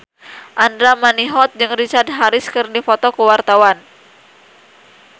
Andra Manihot jeung Richard Harris keur dipoto ku wartawan